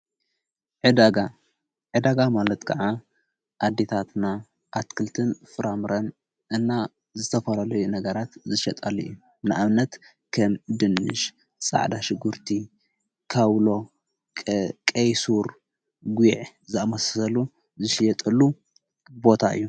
ዕዳጋ ማለት ከዓ ኣዲታትና ኣትክልትን ፍራምረን እና ዝተፈረለዩ ነገራት ዝሸጣሉ እየ ንኣብነት ከም ድንሽ ፃዕዳ ሽጉርቲ ካውሎ ቄይሱር ጕዕ ዝመሰሰሉ ዝስየጠሉ ቦታ እዮ::